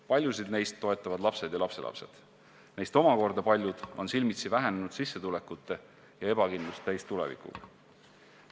Paljusid neist toetavad lapsed ja lapselapsed, neist aga paljud on silmitsi vähenenud sissetulekute ja ebakindlust täis tulevikuga.